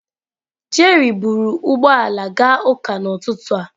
Jerry buru ụgbọ ala gaa ụka n'ụtụtụ a.